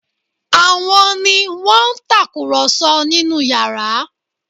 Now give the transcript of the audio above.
Àwọn ni wọ́n ń tàkùrọ̀sọ nínú yàrá?